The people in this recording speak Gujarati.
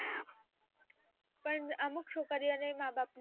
પણ અમુક છોકરીઓને ય માબાપ